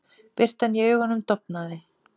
Birtan í augunum dofnaði.